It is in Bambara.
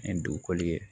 Ni dugukɔli ye